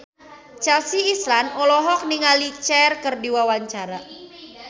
Chelsea Islan olohok ningali Cher keur diwawancara